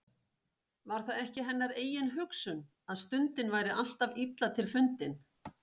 Var það ekki hennar eigin hugsun, að stundin væri alltaf illa til fundin.